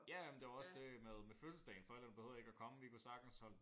Ja ja men det var også det med med fødselsdagen forældrene behøvede ikke at komme vi kunne sagtens hånd